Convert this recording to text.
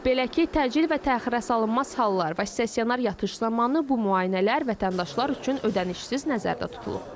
Belə ki, təcil və təxirəsalınmaz hallar, stasionar yatış zamanı bu müayinələr vətəndaşlar üçün ödənişsiz nəzərdə tutulub.